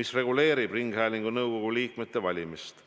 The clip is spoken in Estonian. mis reguleerib ringhäälingu nõukogu liikmete valimist.